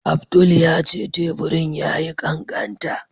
Abdul ya ce teburin ya yi ƙaƙanta.